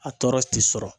A tɔɔrɔ ti sɔrɔ